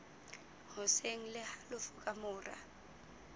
hoseng le halofo ka mora